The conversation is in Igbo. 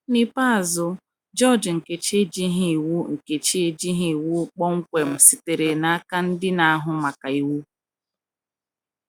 N’ikpeazụ, GEORGE Nkechi ejighị iwu Nkechi ejighị iwu kpọmkwem sitere n'aka ndị na-ahụ maka iwu!